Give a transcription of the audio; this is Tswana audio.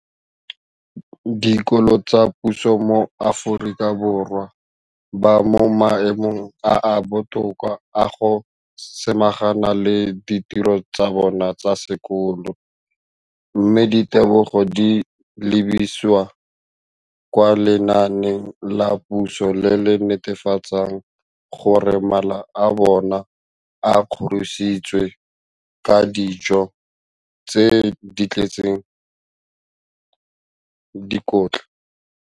Dikolo tsa puso mo Aforika Borwa ba mo maemong a a botoka a go ka samagana le ditiro tsa bona tsa sekolo, mme ditebogo di lebisiwa kwa lenaaneng la puso le le netefatsang gore mala a bona a kgorisitswe ka dijo tse di tletseng dikotla.